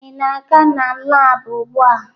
Ị na-aga na laabụ ugbua?